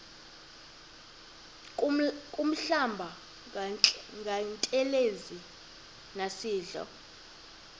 kuhlamba ngantelezi nasidlo